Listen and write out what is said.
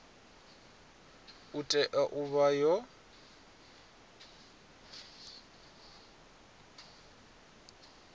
i tea u vha yo